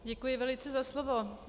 Děkuji velice za slovo.